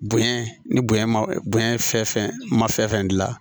Bonɲɛ ni bonya ma bonya fɛn fɛn ma fɛn gila